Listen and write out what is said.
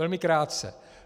Velmi krátce.